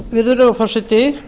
virðulegur forseti